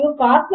కనుక ఇది ఒక్